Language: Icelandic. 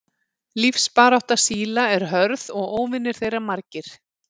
Lífsbarátta síla er hörð og óvinir þeirra margir.